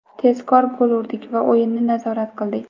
Tezkor gol urdik va o‘yinni nazorat qildik.